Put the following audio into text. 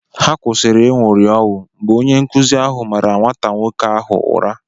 Ha kwụsịrị ịṅụri ọṅụ mgbè onye nkụzi áhù màrà nwata nwoke áhù ụra